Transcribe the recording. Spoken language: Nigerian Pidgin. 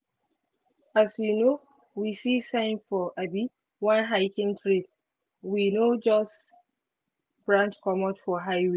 as um we see sign for um one hiking trail we um just branch comot for highway.